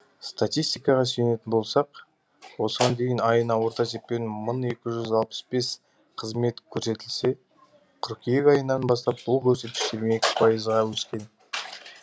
статистикаға сүйенетін болсақ осыған дейін айына орта есеппен бір мың екі жүз алпыс бес қызмет көрсетілсе қыркүйек айынан бастап бұл көрсеткіш жиырма екі пайызға өскен